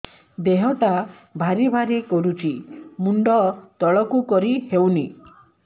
ଦେହଟା ଭାରି ଭାରି କରୁଛି ମୁଣ୍ଡ ତଳକୁ କରି ହେଉନି